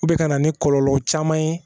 O bɛ ka na ni kɔlɔlɔ caman ye